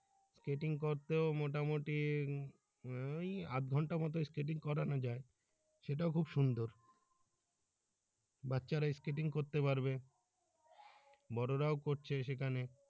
skating করতেও মোটামুটি আহ ওই আধ ঘন্টার মতো skating করানো যায় সেটাও খুব সুন্দর বাচ্চারা skating করতে পারবে বড়রাও করছে সেখানে।